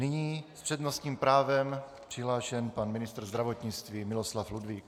Nyní s přednostním právem přihlášen pan ministr zdravotnictví Miloslav Ludvík.